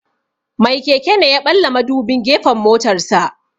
Mai keke ne ya ɓalla madubin gefen motarsa.